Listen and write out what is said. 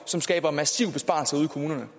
som skaber massive besparelser ude i kommunerne